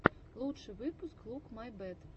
лучший выпуск лук май бэт